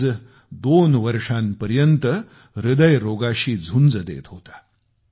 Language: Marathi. फियाज दोन वर्षांपासून हृदयरोगाशी झुंज देत होता